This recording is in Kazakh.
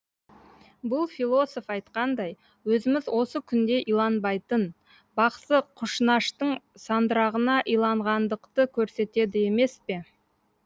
бұл философ айтқандай өзіміз осы күнде иланбайтын бақсы құшнаштың сандырағына иланғандықты көрсетеді емес пе